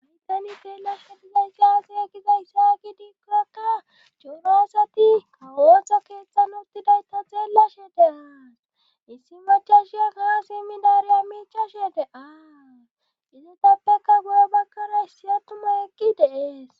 maitani teelashediza igaase egiza issaaki diikorakka cuunaasati ootso keeththan uttidayto xeellashe deaas issi machashiya gaasemmidaareya miichashe de-aaa izu tappeka goyo bakkara issi attuma ekki deees